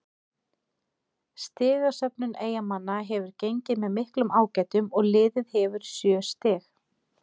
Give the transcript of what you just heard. Stigasöfnun Eyjamanna hefur gengið með miklum ágætum og liðið hefur sjö stig.